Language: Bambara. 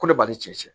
Ko ne b'a ni cɛ